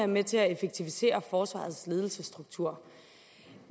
med til at effektivisere forsvarets ledelsesstruktur